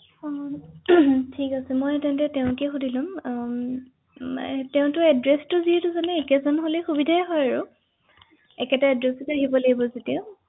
হয় হয় বুজি পাইছো ৷